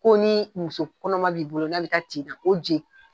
Ko ni muso kɔnɔma b'i bolo n'a bɛ taa jigini na ko je.